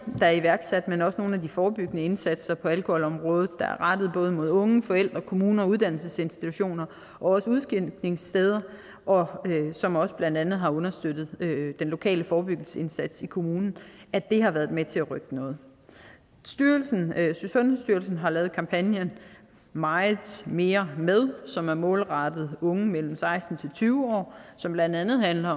der er iværksat men også nogle af de forebyggende indsatser på alkoholområdet der er rettet både mod unge forældre kommuner og uddannelsesinstitutioner og også udskænkningssteder som blandt andet har understøttet den lokale forebyggelsesindsats i kommunen har været med til at rykke noget sundhedsstyrelsen har lavet kampagnen ​ meget mere med ​ som er målrettet unge mellem seksten og tyve år og som blandt andet handler